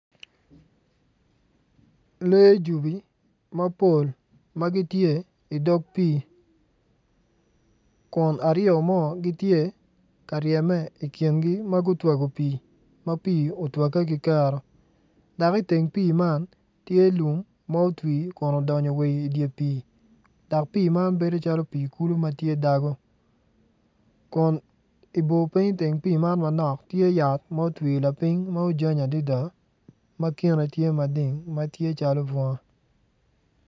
Lee jubi mapol ma gitye i dog pii kun ariyo mo ngitye ka ryeme i kingi ma gutwago pii ma pii otwagge ki kero dak iteng pii man tye lum ma otwi odonyo wa i dye pii dak pii man bedo calo pii kulu ma tye dago kun ibor ping iteng pii man manok tye yat ma otwi lapiny ma ojany adida ma kine tye mading ma tye calo bunga